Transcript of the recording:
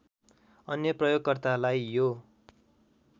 अन्य प्रयोगकर्तालाई यो